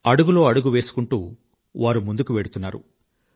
అడుగులో అడుగు వేసుకుంటూ వారు ముందుకు వెళ్తున్నారు